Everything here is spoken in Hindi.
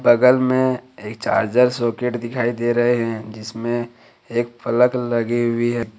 बगल में एक चार्जर सॉकेट दिखाई दे रहे हैं जिसमें एक फलक लगी हुई है।